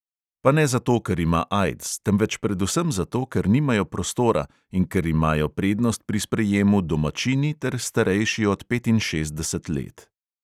Pa ne zato, ker ima aids, temveč predvsem zato, ker nimajo prostora in ker imajo prednost pri sprejemu domačini ter starejši od petinšestdeset let.